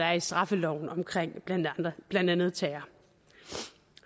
er i straffeloven om blandt andet terror